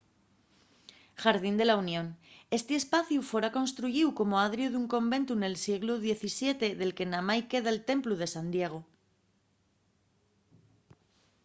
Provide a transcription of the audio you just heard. jardín de la unión esti espaciu fora construyíu como adriu d'un conventu nel sieglu xvii del que namái queda'l templu de san diego